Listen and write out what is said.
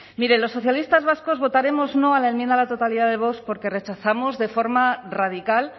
miren los socialistas vascos votaremos no a la enmienda a la totalidad de vox porque rechazamos de forma radical